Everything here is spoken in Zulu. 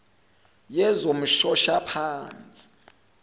yezomshoshaphansi